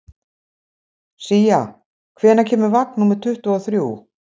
Sía, hvenær kemur vagn númer tuttugu og þrjú?